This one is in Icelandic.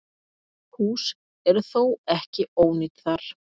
Hús eru þó ekki ónýt þar.